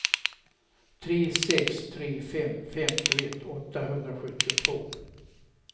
tre sex tre fem femtioett åttahundrasjuttiotvå